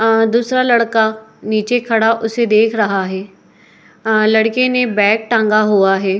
अ दूसरा लड़का नीचे खड़ा उसे देख रहा है। अ लड़के ने बैग टाँगा हुआ है।